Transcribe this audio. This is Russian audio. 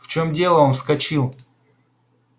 в чём дело он вскочил